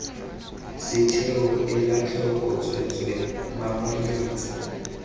setheo ela tlhoko tsweetswee mamaretsa